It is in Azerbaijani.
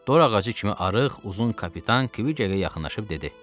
Dor ağacı kimi arıq, uzun kapitan Kviqə yaxınlaşıb dedi: